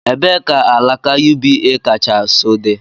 Ebee ka alaka UBA kacha nso dị?